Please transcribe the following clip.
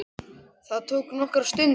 Það tók nokkra stund.